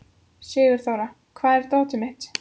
Sigurþóra, hvar er dótið mitt?